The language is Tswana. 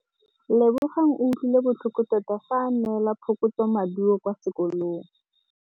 Lebogang o utlwile botlhoko tota fa a neelwa phokotsômaduô kwa sekolong.